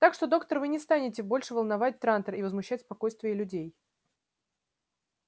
так что доктор вы не станете больше волновать трантор и возмущать спокойствие людей